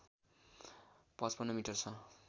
५५ metre छ